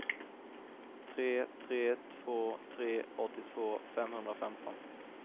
tre tre två tre åttiotvå femhundrafemton